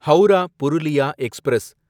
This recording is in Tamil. ஹவுரா புருலியா எக்ஸ்பிரஸ்